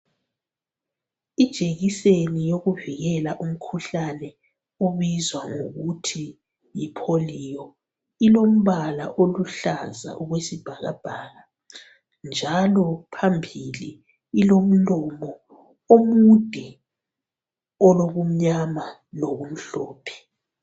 Ijekiseni yokuvikela umkhuhlane obizwa ngokuthi yipoliyo ilombala oluhlaza okwesibhakabhaka njalo phambili ilomlomo omude olokumnyama lokumhlophe